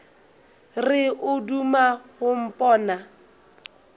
re o duma go mpona